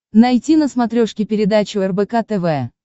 найти на смотрешке передачу рбк тв